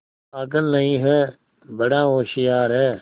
पागल नहीं हैं बड़ा होशियार है